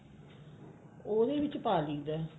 ਉਹਦੇ ਵਿੱਚ ਪਾ ਲਈਦਾ